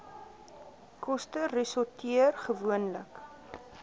koste resorteer gewoonlik